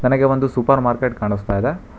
ನನಗೆ ಒಂದು supermarket ಕಾಣಸ್ತಾ ಇದೆ.